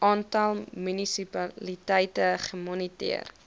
aantal munisipaliteite gemoniteer